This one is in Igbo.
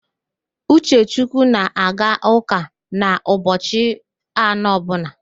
Uchechukwu na-aga ụ́kà n'ụbochị anọ ọbụla